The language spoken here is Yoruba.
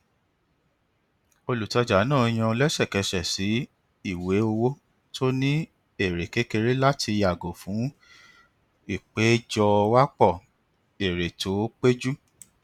olùtajà náà yan lẹsẹkẹsẹ sí ìwé owó tó ní èrè kékeré láti yàgò fún ìpéjọwápọ èrè tó péjú